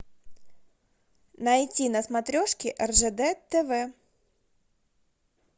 найти на смотрешке ржд тв